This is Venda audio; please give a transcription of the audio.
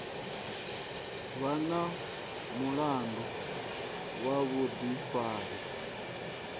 vha na mulandu wa vhuḓifari